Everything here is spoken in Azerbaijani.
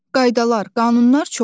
Qaydalar, qanunlar çoxdur.